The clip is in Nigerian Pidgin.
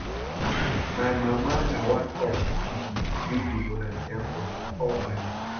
My mama na one of di pipo wey dey volunteer for di orphanage.